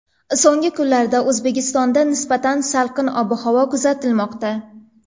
So‘nggi kunlarda O‘zbekistonda nisbatan salqin ob-havo kuzatilmoqda.